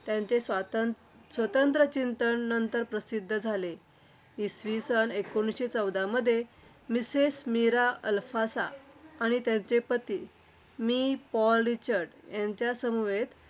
त्यांचे स्वतं स्वतंत्र चिंतन नंतर प्रसिद्ध झाले. इसवी सन एकोणीसशे चौदामध्ये mistress मीरा अल्फासाआणि त्यांचे पती मि. पॉल रिचईस यांच्या समवेत.